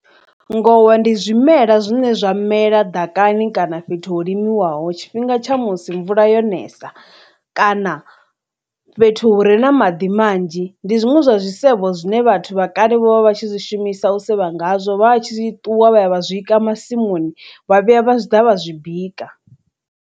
Ngowa ndi zwimela zwine zwa mela ḓakani kana fhethu ho limiwaho tshifhinga tsha musi mvula yo nesa kana fhethu hure na maḓi manzhi ndi zwiṅwe zwa tshisevho zwine vhathu vha kale vho vha tshi zwishumisa u sevha ngazwo vha tshi ṱuwa vha ya vha zwika masimuni vha vhuya vha ḓa vha zwi bika.